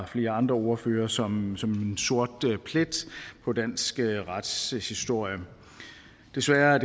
flere andre ordførere som som en sort plet på dansk retshistorie desværre er